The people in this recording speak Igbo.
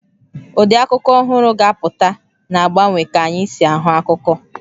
Ụdị akụkọ ọhụrụ ga-apụta, na-agbanwe ka anyị si ahụ akụkọ.